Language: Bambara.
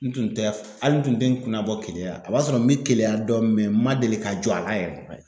N tun tɛ, hali n tun tɛ n kunna bɔ keleya, a b'a sɔrɔ n bɛ keleya dɔn n ma deli ka jɔ a la yɛrɛ.